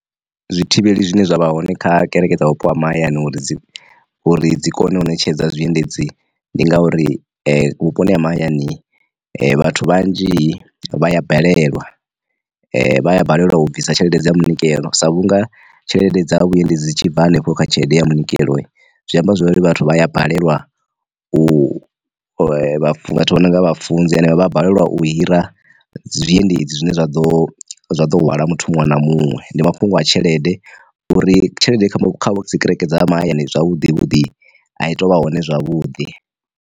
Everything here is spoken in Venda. Zwi thivheli zwine zwa vha hone kha kereke dza vhupo ha mahayani uri dzi uri dzi kone u ṋetshedza zwiendedzi, ndi ngauri, vhuponi ha mahayani vhathu vhanzhi vha ya balelwa vha balelwa u bvisa tshelede dza munikelo sa vhunga tshelede dza vhuendedzi tshi bva hanefho kha tshelede ya munikelo zwi amba zwori vhathu vha ya balelwa u nonga vhafunzi henevha vha balelwa u hira zwiendedzi zwine zwa ḓo zwa ḓo hwala muthu muṅwe na muṅwe ndi mafhungo a tshelede uri, tshelede kha dzi kereke dza ha mahayani zwavhuḓi vhuḓi a i tou vha hone zwavhuḓi.